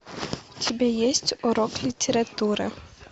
у тебя есть урок литературы